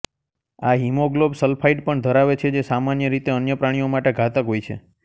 આ હિમોગ્લોબ સલ્ફાઇડ પણ ધરાવે છે જે સામાન્ય રીતે અન્ય પ્રાણીઓ માટે ઘાતક હોય છે